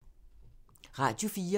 Radio 4